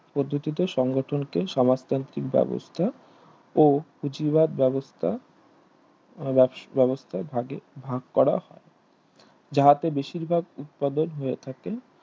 পদ্ধতিতে সংগঠনকে সমাজতান্ত্রিক বেবস্থা ও কুচিরবাদ বেবস্থা বেবস্থা ভাগে ভাগকরা যাহাতে বেশিরভাগ উৎপাদন হয়ে থাকে